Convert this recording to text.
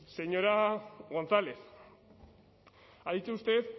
señora gonzález ha dicho usted